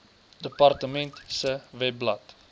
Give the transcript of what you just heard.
departement se webblad